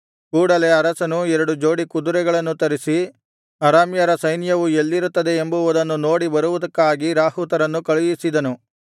ಕೂಡಲೆ ಅರಸನು ಎರಡು ಜೋಡಿ ಕುದುರೆಗಳನ್ನು ತರಿಸಿ ಅರಾಮ್ಯರ ಸೈನ್ಯವು ಎಲ್ಲಿರುತ್ತದೆ ಎಂಬುವುದನ್ನು ನೋಡಿ ಬರುವುದಕ್ಕಾಗಿ ರಾಹುತರನ್ನು ಕಳುಹಿಸಿದನು